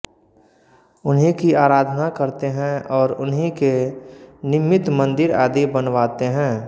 उन्हीं की आराधना करते हैं और उन्हीं के निमित्त मंदिर आदि बनवाते हैं